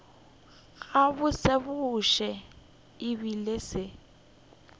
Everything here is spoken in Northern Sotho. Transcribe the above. gabotsebotse e be e se